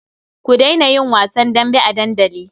Ku daina yin wasan dambe a dandali.